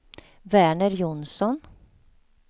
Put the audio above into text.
Verner Jonsson